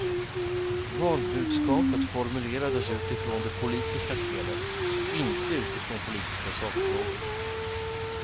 Valbudskapet formulerades utifrån det politiska spelet, inte utifrån politiska sakfrågor.